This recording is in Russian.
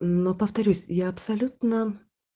но повторюсь я абсолютно